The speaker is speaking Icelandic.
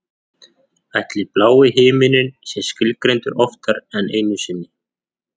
Ætli blái himininn sé skilgreindur oftar en einu sinni?